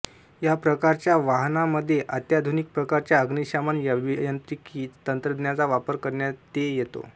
या प्रकारच्या वाहनांमध्ये अत्याधुनिक प्रकारच्या अग्निशमन अभियांत्रिकी तंत्रज्ञानाचा वापर करण्याते येतो